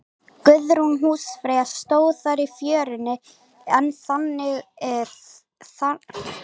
Guðrún húsfreyja stóð þar í fjörunni, en þangað hafði hún ekki komið í langan tíma.